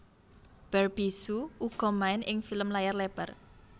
Barbie hsu uga main ing film layar lebar